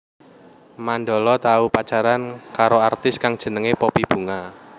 Mandala tau pacaran karo artis kang jenengé Poppy Bunga